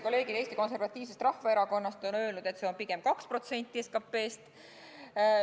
Kolleegid Eesti Konservatiivsest Rahvaerakonnast on öelnud, et see on pigem 2% SKT-st.